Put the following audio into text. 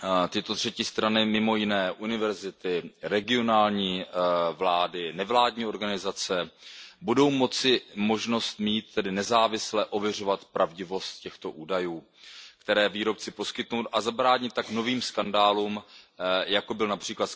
Tyto třetí strany, mimo jiné univerzity, regionální vlády, nevládní organizace, budou tedy mít možnost nezávisle ověřovat pravdivost těchto údajů, které výrobci poskytnou, a zabránit tak novým skandálům, jako byl např.